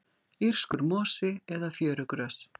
írskur mosi eða fjörugrös